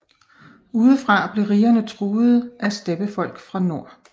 Udefra blev rigerne truede af steppefolk fra nord